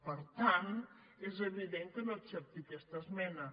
per tant és evi·dent que no accepti aquesta esmena